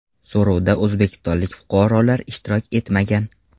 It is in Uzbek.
So‘rovda o‘zbekistonlik fuqarolar ishtirok etmagan.